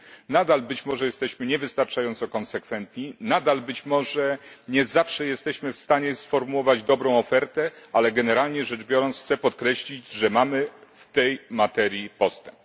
Nadal, być może, jesteśmy nie wystarczająco konsekwentni, nadal, być może, nie zawsze jesteśmy w stanie sformułować dobrą ofertę, ale generalnie rzecz biorąc, chcę podkreślić, że mamy w tej materii postęp.